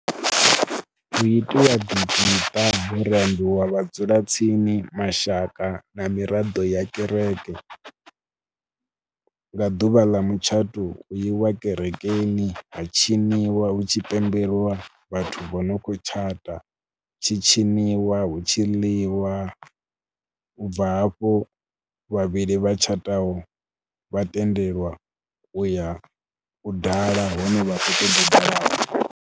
Hu itiwa dzi khadi ho rambiwa vhadzulatsini, mashaka na miraḓo ya kereke. Nga ḓuvha ḽa mutshato hu iwa kerekeni ha tshiniwa hu tshi pembelwa vhathu vho no khou tshata, hu tshi tshiniwa, hu tshi ḽiwa. U bva hafho vhavhili vha tshataho vha tendelwa u ya u dala hune vha khou ṱoḓ u dala hone.